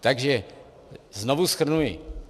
Takže znovu shrnuji.